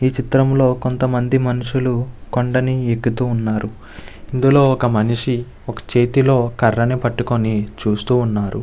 ఈ చిత్రంలో కొంత మంది మనుషులు కొండని ఎక్కుతూ ఉన్నారు. ఇందులో ఒక మనిషి ఒకే చేతిలో కర్రని పట్టుకొని చూస్తూ ఉన్నాడు.